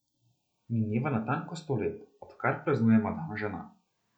Mineva natanko sto let, odkar praznujemo dan žena.